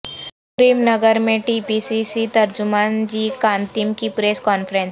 کریم نگر میں T P C C ترجمان G Kantham کی پریس کانفرنس